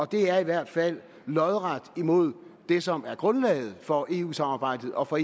det er i hvert fald lodret imod det som er grundlaget for eu samarbejdet og for